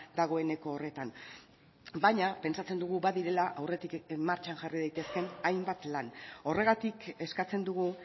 dagoeneko horretan baina pentsatzen dugu badirela aurretik martxan jarri daitezkeen hainbat lan horregatik eskatzen dugu